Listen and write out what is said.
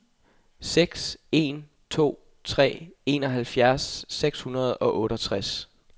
seks en to tre enoghalvtreds seks hundrede og otteogtres